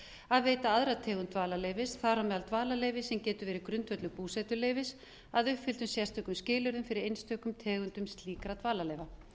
að veita aðra tegund dvalarleyfis þar á meðal dvalarleyfi sem getur verið grundvöllur búsetuleyfis að uppfylltum sérstökum skilyrðum fyrir einstökum tegundum slíkra dvalarleyfa